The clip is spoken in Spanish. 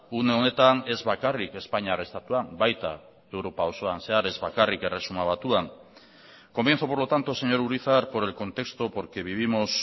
une honetan ez bakarrik espainiar estatuan baita europa osoan zehar ez bakarrik erresuma batuan comienzo por lo tanto señor urizar por el contexto porque vivimos